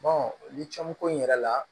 ni caman ko in yɛrɛ la